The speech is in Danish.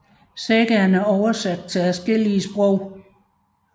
Sagaen er oversat til adskillige sprog